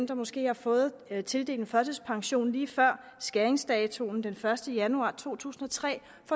der måske har fået tildelt en førtidspension lige før skæringsdatoen den første januar to tusind og tre